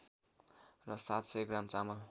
र ७०० ग्राम चामल